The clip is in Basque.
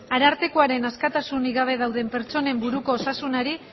arartekoaren askatasunik gabe dauden pertsonen buruko osasunari